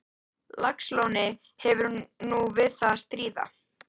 Laxalóni hefur nú við að stríða.